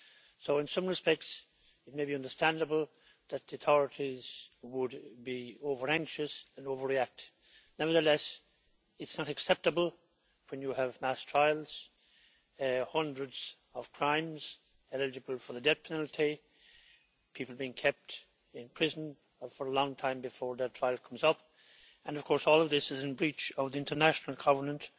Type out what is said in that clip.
So in some respects, it may be understandable that the authorities would be over anxious and overreact. Nevertheless, it's not acceptable when you have mass trials, hundreds of crimes eligible for the death penalty, people being kept in prison for a long time before their trial comes up and of course all of this is in breach of the International Covenant